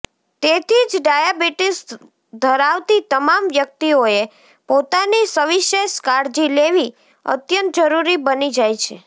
તેથી જ ડાયાબિટીસ ધરાવતી તમામ વ્યક્તિઓએ પોતાની સવિશેષ કાળજી લેવી અત્યંત જરૂરી બની જાય છે